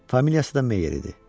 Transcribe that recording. Familiyası da Meyer idi.